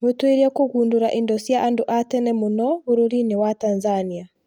Mũtuĩria kũgundũra indo cia andũ a tene mũno bũrũri-inĩ wa Tanzania